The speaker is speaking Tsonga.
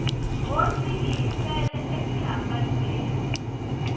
hosi yi hi fele exihambanweni